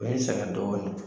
U ye sɛgɛn dɔɔnin